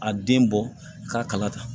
A den bɔ k'a kala ta